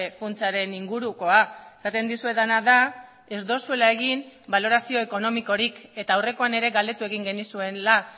funtsaren ingurukoa esaten dizuedana da ez duzuela egin balorazio ekonomikorik eta aurrekoan ere galdetu egin genizuela